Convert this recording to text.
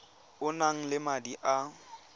o nang le madi a